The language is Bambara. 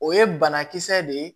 O ye banakisɛ de ye